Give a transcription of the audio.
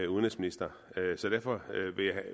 udenrigsminister så derfor